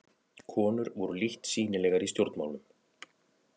Konur voru lítt sýnilegar í stjórnmálum.